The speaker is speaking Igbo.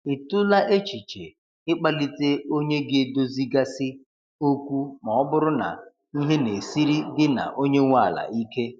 Ị tụla echiche i kpalite onye ga edozi ga si okwu ma ọ bụrụ na ihe na-esiri gị na onye nwe ala ike?